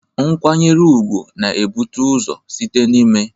Nkwanyere ugwu na-ebute ụzọ site n'ime